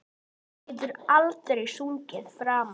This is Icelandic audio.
Þú getur aldrei sungið framar